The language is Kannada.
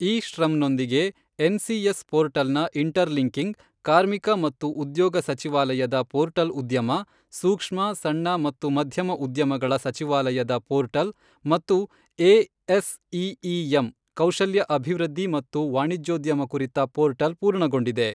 ಇ ಶ್ರಮ್ನೊಂದಿಗೆ ಎನ್ಸಿಎಸ್ ಪೋರ್ಟಲ್ನ ಇಂಟರ್ಲಿಂಕಿಂಗ್, ಕಾರ್ಮಿಕ ಮತ್ತು ಉದ್ಯೋಗ ಸಚಿವಾಲಯದ ಪೋರ್ಟಲ್ ಉದ್ಯಮ, ಸೂಕ್ಷ್ಮ, ಸಣ್ಣ ಮತ್ತು ಮಧ್ಯಮ ಉದ್ಯಮಗಳ ಸಚಿವಾಲಯದ ಪೋರ್ಟಲ್ ಮತ್ತು ಎಎಸ್ಈಈಎಮ್ ಕೌಶಲ್ಯ ಅಭಿವೃದ್ಧಿ ಮತ್ತು ವಾಣಿಜ್ಯೋದ್ಯಮ ಕುರಿತ ಪೋರ್ಟಲ್ ಪೂರ್ಣಗೊಂಡಿದೆ.